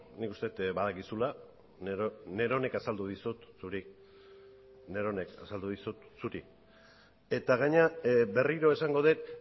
nik uste dut badakizula neronek azaldu dizut zuri neronek azaldu dizut zuri eta gainera berriro esango dut